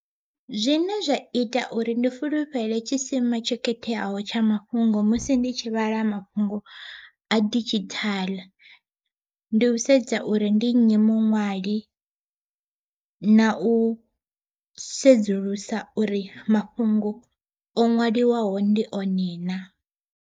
Zwine zwa ita uri ndi fulufhelo tshisima tsho khetheaho tsha mafhungo musi ndi tshi vhala mafhungo a didzhithaḽa, ndi u sedza uri ndi nnyi muṅwali na u sedzulusa uri mafhungo o ṅwaliwaho ndi one na.